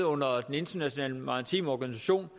under den internationale maritime organisation